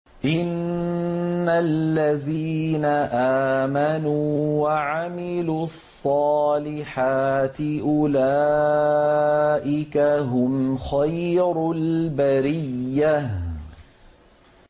إِنَّ الَّذِينَ آمَنُوا وَعَمِلُوا الصَّالِحَاتِ أُولَٰئِكَ هُمْ خَيْرُ الْبَرِيَّةِ